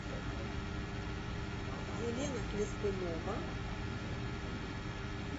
елена хлестунова